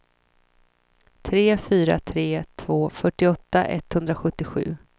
tre fyra tre två fyrtioåtta etthundrasjuttiosju